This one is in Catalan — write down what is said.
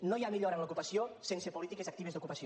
no hi ha millora en l’ocupació sense polítiques actives d’ocupació